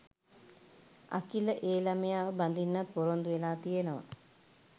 අකිල ඒ ළමයාව බඳින්නත් ‍පොරොන්දු වෙලා තියෙනවා